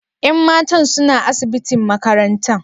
Yan matan suna asibitin makarantan?